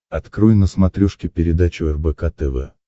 открой на смотрешке передачу рбк тв